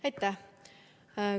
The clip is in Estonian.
Aitäh!